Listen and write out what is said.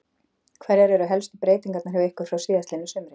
Hverjar eru helstu breytingarnar hjá ykkur frá síðastliðnu sumri?